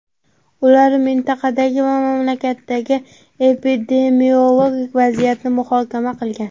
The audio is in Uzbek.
Ular mintaqadagi va mamlakatdagi epidemiologik vaziyatni muhokama qilgan.